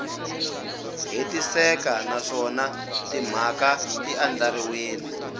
hetiseka naswona timhaka ti andlariwile